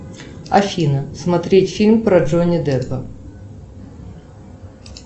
афина смотреть фильм про джонни деппа